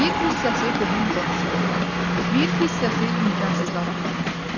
Bir hissəsi qohum-qonşuya, bir hissəsi imkansızlara paylanır.